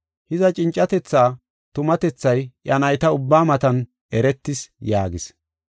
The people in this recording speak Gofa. Hiza, cincatethaa tumatethay iya nayta ubbaa matan eretis” yaagis.